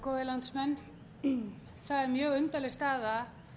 góðir landsmenn það er mjög undarleg staða